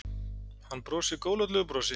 Hann brosir góðlátlegu brosi.